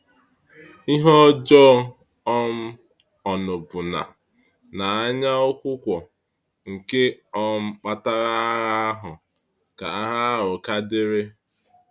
Ị́hè-ọ́jọọ́, um ọ́ṅụ́bụ́nà na anyaụ̀kwụ̀kwọ̀ nke um kpatara agha ahụ ka agha ahụ ka dịrị.